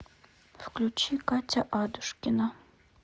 включи катя адушкина